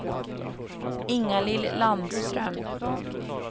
Ingalill Landström